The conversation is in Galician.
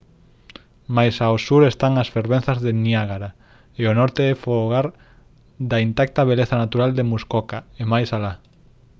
máis ao sur están as fervenzas do niágara e o norte é fogar da intacta beleza natural de muskoka e máis alá